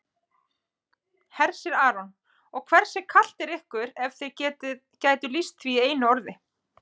Hersir Aron: Og hversu kalt er ykkur ef þið gætuð lýst því í einu orði?